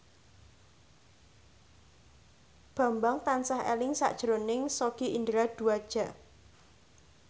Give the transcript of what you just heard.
Bambang tansah eling sakjroning Sogi Indra Duaja